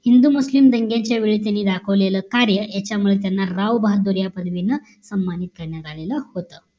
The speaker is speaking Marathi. हिंदू मुस्लिम दंग्याच्या वेळी त्यांनी दाखवलेलं कार्य याच्या मुळे त्यांना राव बहादूर या पदवीनं सन्मानित करण्यात आलेलं होत